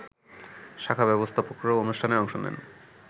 শাখা ব্যবস্থাপকরাও অনুষ্ঠানে অংশ নেন